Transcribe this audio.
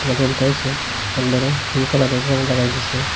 একবারে ফিংঙ্ক কালারের রং লাগাই দিসে।